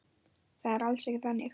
Það er alls ekki þannig.